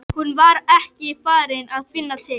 Hún var ekki farin að finna til.